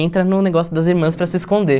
Entra no negócio das irmãs para se esconder.